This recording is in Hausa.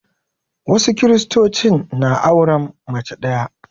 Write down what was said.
Wasu Kiristocin na auren mace ɗaya